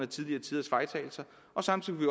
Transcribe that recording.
tidligere tiders fejltagelser og samtidig